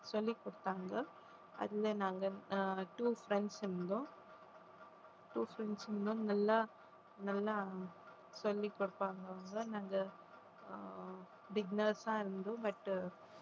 சொல்லிக் கொடுத்தாங்க அதுல நாங்க ஆஹ் two friends இருந்தோம் two friends இன்னும் நல்லா நல்லா சொல்லிக் கொடுப்பாங்க அவங்க நாங்க ஆஹ் beginners ஆ இருந்தோம் but